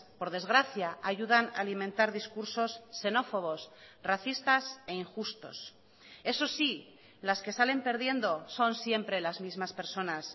por desgracia ayudan a alimentar discursos xenófobos racistas e injustos eso sí las que salen perdiendo son siempre las mismas personas